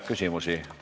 Küsimusi?